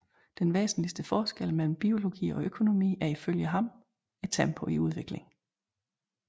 Den væsentligste forskel mellem biologi og økonomi er ifølge ham tempoet i udviklingen